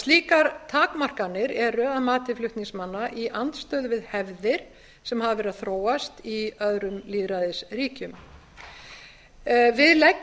slíkar takmarkanir eru að mati flutningsmanna í andstöðu við hefðir sem hafa verið að þróast í öðrum lýðræðisríkjum við